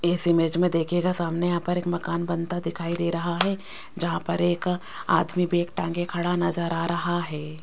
इस इमेज में देखिएगा सामने यहां पर एक मकान बनता दिखाई दे रहा है जहां पर एक आदमी भी एक टांगे खड़ा नजर आ रहा है।